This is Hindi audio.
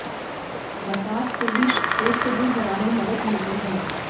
मसाज से भी स्ट्रेस को दूर भगाने में मदद मिलती है